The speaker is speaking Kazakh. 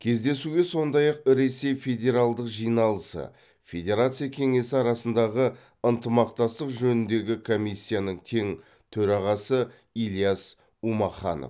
кездесуге сондай ақ ресей федералдық жиналысы федерация кеңесі арасындағы ынтымақтастық жөніндегі комиссияның тең төрағасы ильяс умаханов